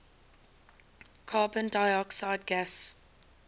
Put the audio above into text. carbon dioxide gas